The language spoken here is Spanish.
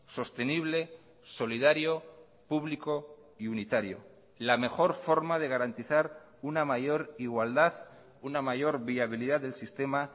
sostenible solidario público y unitario la mejor forma de garantizar una mayor igualdad una mayor viabilidad del sistema